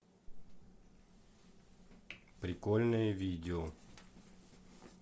прикольные видео